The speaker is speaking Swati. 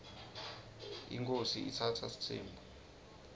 inkhosi itsatsa sitsembu